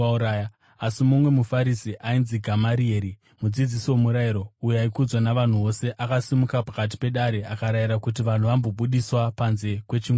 Asi mumwe muFarisi ainzi Gamarieri, mudzidzisi womurayiro, uyo aikudzwa navanhu vose, akasimuka pakati pedare akarayira kuti vanhu vambobudiswa panze kwechinguvana.